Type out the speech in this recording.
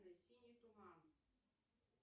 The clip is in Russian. синий туман